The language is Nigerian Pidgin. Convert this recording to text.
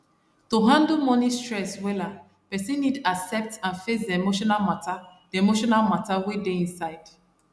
to handle moni stress wella person need accept and face the emotional matter the emotional matter wey dey inside